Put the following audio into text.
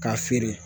K'a feere